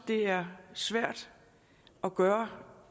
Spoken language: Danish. det er svært at gøre